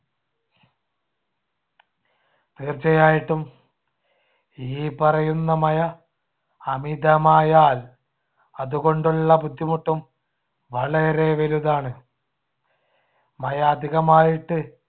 തീർച്ചയായിട്ടും ഈ പറയുന്ന മഴ അമിതമായാൽ അതുകൊണ്ടുള്ള ബുദ്ധിമുട്ടും വളരെ വലുതാണ്. മഴ അധികമായിട്ട്